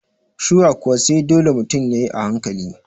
soai kuwa, sai dole mutun yayi a hankali